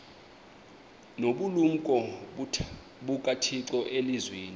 nobulumko bukathixo elizwini